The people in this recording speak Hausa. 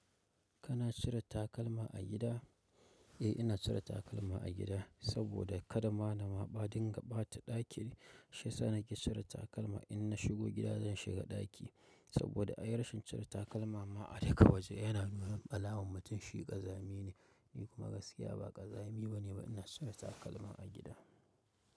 Kana cire takalma a gida? Eh, ina cire takalma a gida, saboda kada ma na maɓaɗi in ga ɓata ɗaki, shi sanar ke cire takalma. In na shigo gida zan shiga ɗaki, saboda ai rashin cire takalma ma a duka waje yana nuna alamun mutum shi ƙazami ne. Ni kuma gaskiya ba ƙazami bane ba, ina cire takalma a gida.